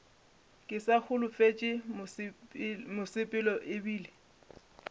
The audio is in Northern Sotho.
ke sa holofetše mosepelo ebile